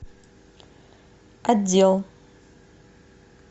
отдел